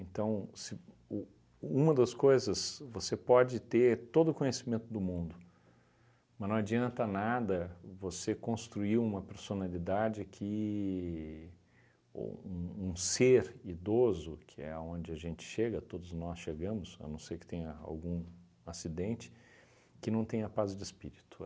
se u uma das coisas, você pode ter todo o conhecimento do mundo, mas não adianta nada você construir uma personalidade que ou um um ser idoso, que é onde a gente chega, todos nós chegamos, a não ser que tenha algum acidente, que não tenha paz de espírito.